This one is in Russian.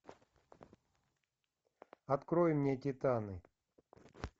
открой мне титаны